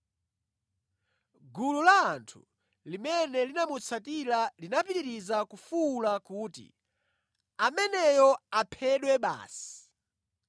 Gulu la anthu limene linamutsatira linapitiriza kufuwula kuti, “Ameneyo aphedwe basi!”